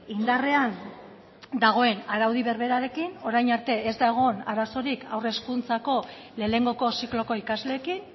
indarrean dagoen araudi berberarekin orain arte ez da egon arazorik haur hezkuntzako lehenengoko zikloko ikasleekin